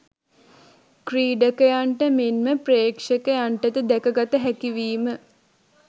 ක්‍රීඩකයන්ට මෙන්ම ප්‍රේක්ෂකයන්ටද දැක ගත හැකිවීම